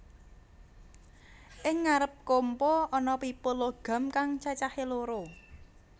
Ing ngarep kompa ana pipa logam kang cacahé loro